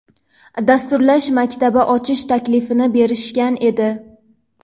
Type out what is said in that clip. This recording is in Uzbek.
dasturlash maktabi ochish taklifini berishgan edi.